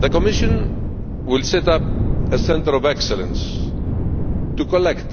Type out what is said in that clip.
The Commission will set up a Centre of Excellence to collect